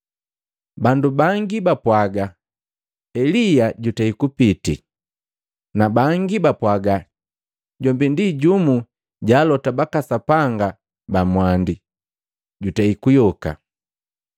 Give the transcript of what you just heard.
Bandu bangi bapwaga Elia jutei kupitii, na bangi bapwaga jombi ndi jumu ja alota baka Sapanga ba mwandi, jutei kuyoka.